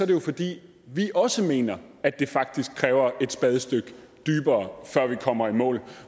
det jo fordi vi også mener at det faktisk kræver et spadestik dybere før vi kommer i mål